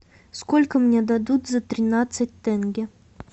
сколько мне дадут за тринадцать тенге